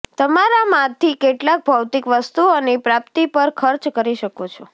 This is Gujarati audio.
તમારામાંથી કેટલાક ભૌતિક વસ્તુઓની પ્રાપ્તિ પર ખર્ચ કરી શકો છો